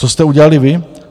Co jste udělali vy?